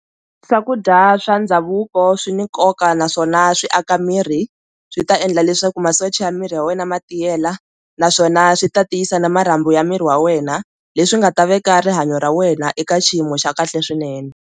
Swakudya swa ndhavuko swi ni nkoka naswona swi aka miri swi ta endla leswaku masocha ya miri ya wena ma tiyela naswona swi ta tiyisa na marhambu ya miri wa wena leswi nga ta veka rihanyo ra wena eka xiyimo xa kahle swinene.